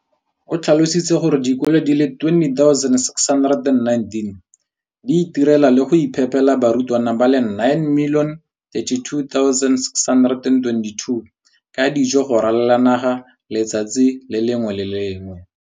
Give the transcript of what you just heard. O tlhalositse gore dikolo di le 20 619 di itirela le go iphepela barutwana ba le 9 032 622 ka dijo go ralala naga letsatsi le lengwe le le lengwe.